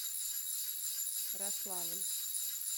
рославль